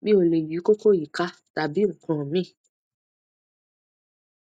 mi ò lè yí koko yìí ká tàbí nǹkan míì